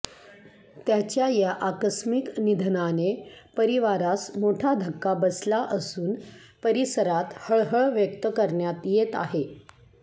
त्याच्या या आकस्मिक निधनाने परिवारास मोठा धक्का बसला असून परिसरात हळहळ व्यक्त करण्यात येत आहे